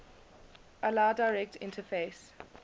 allow direct interface